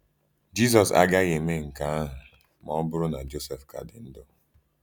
Jisọs agaghị emee nke ahụ ma ọ bụrụ na Jọsef ka dị ndụ.